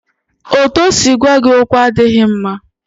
Otú o si gwa gị okwu adịghị mma